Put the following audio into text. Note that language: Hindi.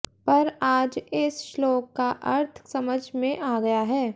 पर आज इस श्लोक का अर्थ समझ में आ गया है